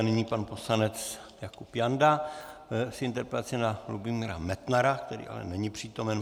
A nyní pan poslanec Jakub Janda s interpelací na Lubomíra Metnara, který ale není přítomen.